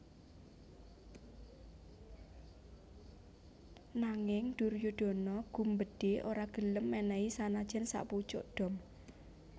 Nanging Duryudana gumbedhe ora gelem menehi sanajan sakpucuk dom